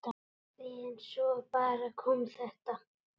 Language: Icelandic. En svo bara kom þetta.